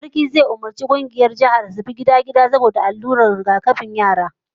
Sarki zai umurci kungiyar ma'aikatan jinyan su bi gida-gida don bayar da allurar rigakafi ga yara